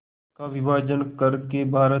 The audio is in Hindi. का विभाजन कर के भारत